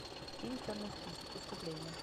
фильм черный список искупление